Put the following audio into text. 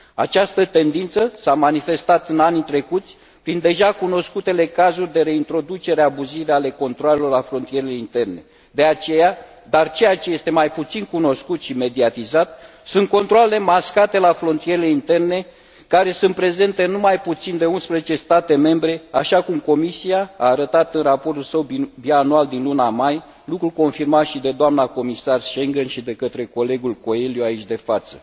Această tendință s a manifestat în anii trecuți, prin deja cunoscutele cazuri de reintroducere abuzivă a controalelor la frontierele interne. Dar ceea ce este mai puțin cunoscut și mediatizat sunt controalele mascate la frontierele interne, care sunt prezente în nu mai puțin de 11 state membre, așa cum Comisia a arătat în raportul său bianual din luna mai, lucru confirmat și de doamna Comisar responsabilă pentru spațiul Schengen și de către colegul Coelho, aici de față.